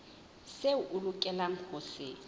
seo a lokelang ho se